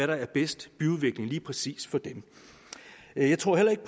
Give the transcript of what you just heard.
der er bedst lige præcis for dem jeg tror heller ikke